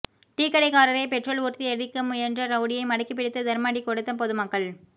tea கடைகாரரை petrol ஊற்றி எரிக்க முயன்ற ரவுடியை மடக்கிப் பிடித்து தர்மஅடி கொடுத்த பொதுமக்கள்